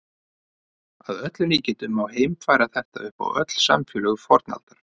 Að öllum líkindum má heimfæra þetta upp á öll samfélög fornaldar.